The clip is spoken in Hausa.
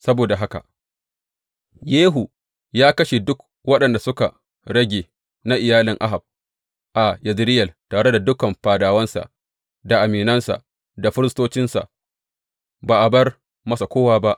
Saboda haka Yehu ya kashe duk waɗanda suka rage na iyalin Ahab a Yezireyel, tare da dukan fadawansa da aminansa da firistocinsa, ba a bar masa kowa ba.